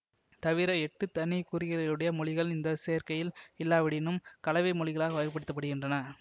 தவிர எட்டு தனி குறிகளுடைய மொழிகள் இந்த சேர்க்கையில் இல்லாவிடினும் கலவை மொழிகளாக வகைபடுத்தப்படுகின்றன